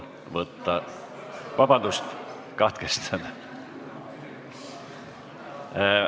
Vabandust, katkestada!